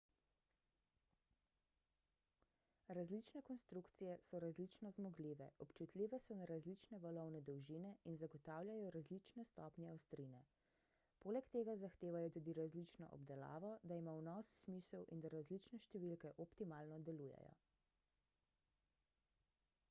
različne konstrukcije so različno zmogljive občutljive so na različne valovne dolžine in zagotavljajo različne stopnje ostrine poleg tega zahtevajo tudi različno obdelavo da ima vnos smisel in da različne številke optimalno delujejo